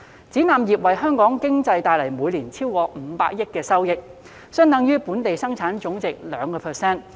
展覽業為香港經濟帶來每年超過500億元收益，相等於本地生產總值的 2%。